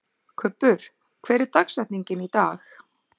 Kubbur, hver er dagsetningin í dag?